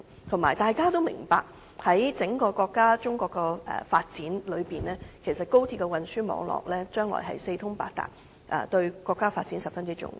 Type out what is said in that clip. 再者，大家均明白，從整個國家的發展而言，高鐵的運輸網絡將來會四通八達，對國家的發展十分重要。